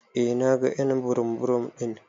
Eh na gan y'an burum burum din.